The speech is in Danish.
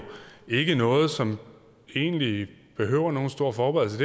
ikke noget som egentlig behøver nogen stor forberedelse